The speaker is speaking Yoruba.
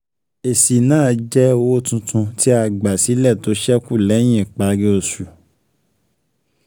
Èsì náà jẹ́ owó tuntun tí a gbà sílẹ̀ tó sẹ́kù lẹ́yìn ìparí oṣù.